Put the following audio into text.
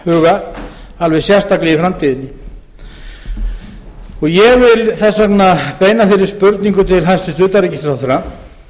huga alveg sérstaklega í framtíðinni ég vil þess vegna beina þeirri spurningu til hæstvirts utanríkisráðherra